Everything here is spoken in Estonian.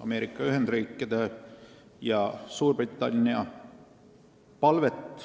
Ameerika Ühendriikide ja Suurbritannia palvet.